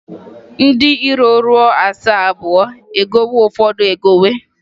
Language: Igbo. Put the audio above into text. Ndị iro ruo asaa abụọ e gowe Ụfọdụ egowe.